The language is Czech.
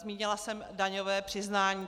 Zmínila jsem daňové přiznání.